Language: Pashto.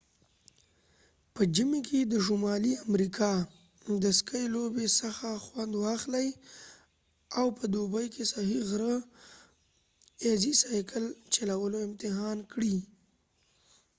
په ژمی کې د شمالی امریکا د سکې لوبې څخه خوند واخلۍ او په دوبی کې صحیح غره ایزی سایکل چلولو امتحان کړي